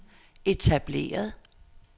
etableret